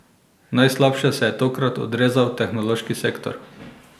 Najslabše se je tokrat odrezal tehnološki sektor.